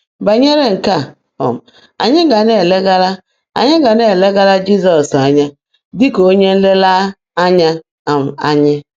Banyere nke a, um anyị ga na-elegara anyị ga na-elegara Jizọs anya dị ka onye nlereanya um anyị.